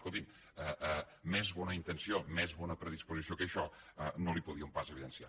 escolti’m més bona intenció més bona predisposició que això no li podíem pas evidenciar